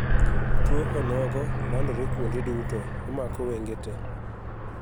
Tuo onogo landore kuonde duto (omako wenge tee.)